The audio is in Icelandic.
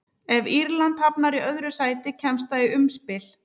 Ef Írland hafnar í öðru sæti kemst það í umspil.